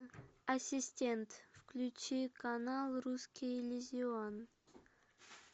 ассистент включи канал русский иллюзион